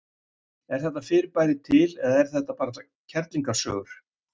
Er þetta fyrirbæri til eða er þetta bara kerlingasögur?